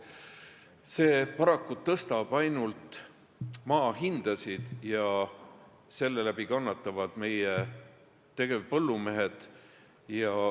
See paraku tõstab ainult maahindasid ja selle läbi kannatavad meie tegevpõllumehed.